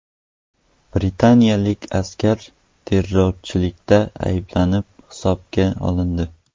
Britaniyalik askar terrorchilikda ayblanib hibsga olindi.